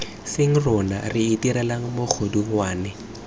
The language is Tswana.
seng rona re itirelang megodungwana